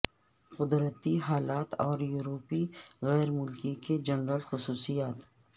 قدرتی حالات اور یورپی غیر ملکی کے جنرل خصوصیات